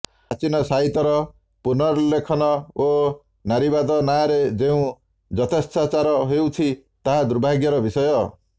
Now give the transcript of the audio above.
ପ୍ରାଚୀନ ସାହିତ୍ୟର ପୁନର୍ଲେଖନ ଓ ନାରୀବାଦ ନାଁରେ ଯେଉଁ ଯଥେଚ୍ଛାଚାର ହେଉଛି ତାହା ଦୁର୍ଭାଗ୍ୟର ବିଷୟ